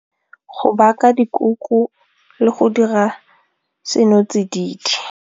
Go baka dikuku le go dira senotsididi.